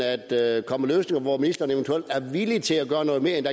at komme med hvor ministeren eventuelt er villig til at gøre noget mere end